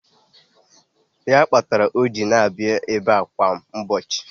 Ya kpatara o ji na-abịa ebe kwa ụbọchị.